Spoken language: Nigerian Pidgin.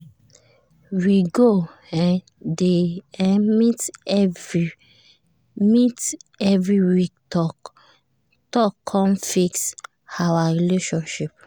we go um dey um meet every um meet every week talk con fix um our relationship